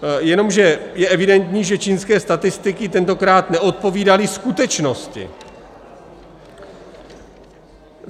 Jenomže je evidentní, že čínské statistiky tentokrát neodpovídaly skutečnosti.